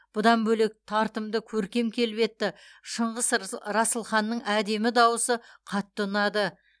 бұдан бөлек тартымды көркем келбетті шыңғыс расылханның әдемі дауысы қатты ұнады